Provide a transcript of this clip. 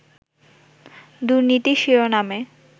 দুর্নীতি শিরোনামে